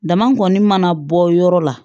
Dama kɔni mana bɔ yɔrɔ la